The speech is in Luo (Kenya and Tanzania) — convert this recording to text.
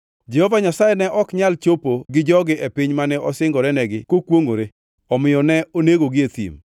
‘Jehova Nyasaye ne ok nyal chopo gi jogi e piny mane osingorenegi kokwongʼore, momiyo ne onegogi e thim.’